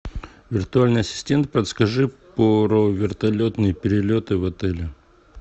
виртуальный ассистент подскажи про вертолетные перелеты в отеле